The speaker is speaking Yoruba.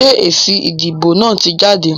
Sé èsì ìdìbò náà ti jáde?